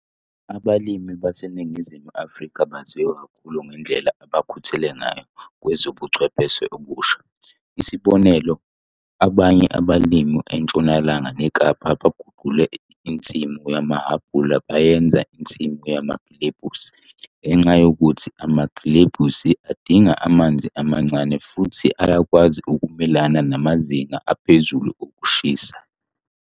Abalimi baseNingizimu Afrika baziwa kakhulu ngendlela abakhuthele ngayo kwezobuchwepheshe obusha. Isibonelo, abanye abalimi eNtshonalanga neKapa baguqule insimu yamahhabhula bayenza insimu yamagilebhisi ngenxa yokuthi amagilebhisi adinga amanzi amancane futhi ayakwazi ukumelana namazinga aphezuu okushisa.